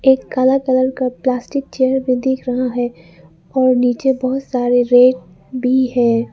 एक काला कलर का प्लास्टिक चेयर भी दिख रहा है और नीचे बहुत सारे रेत भी है।